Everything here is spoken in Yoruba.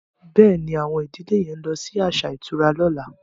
Béèni Awon ìdílè yén ló ibí aṣa ìtura lọ̀la.